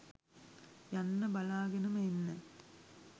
යන්න බලාගෙනම එන්න